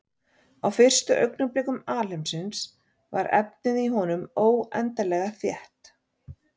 Á fyrstu augnablikum alheimsins var efnið í honum óendanlega þétt.